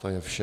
To je vše.